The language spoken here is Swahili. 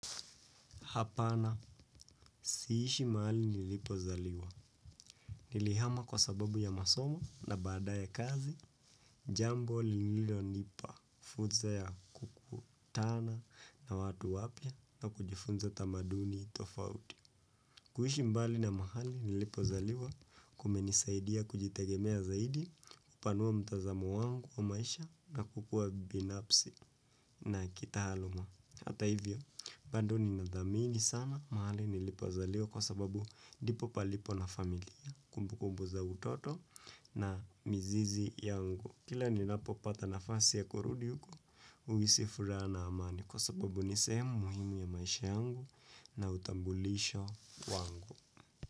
Hapana si ishi mahali nilipo zaliwa. Nilihama kwa sababu ya masomo na badaye kazi, jambo lililo nipa, fursa ya kukutana na watu wapya na kujifunza tamaduni tofauti. Kuishi mbali na mahali nilipo zaliwa kumenisaidia kujitegemea zaidi, kupanua mtazamo wangu wa maisha na kukua binafsi na kitaaluma. Hata hivyo, bado nina dhamini sana mahali nilipo zaliwa kwa sababu ndipo palipo na familia, kumbu kumbu za utoto na mizizi yangu. Kila ninapo pata nafasi ya kurudi uko, huhisi furaha na amani kwa sababu ni sehemu muhimu ya maisha yangu na utambulisho wangu.